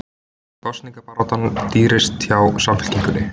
Kosningabaráttan dýrust hjá Samfylkingunni